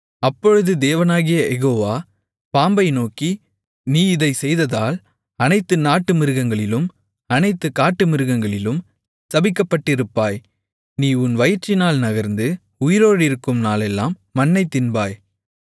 அப்பொழுது தேவனாகிய யெகோவா பாம்பை நோக்கி நீ இதைச் செய்ததால் அனைத்து நாட்டுமிருகங்களிலும் அனைத்து காட்டுமிருகங்களிலும் சபிக்கப்பட்டிருப்பாய் நீ உன் வயிற்றினால் நகர்ந்து உயிரோடிருக்கும் நாளெல்லாம் மண்ணைத் தின்பாய்